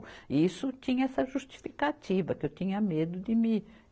E isso tinha essa justificativa, que eu tinha medo de me.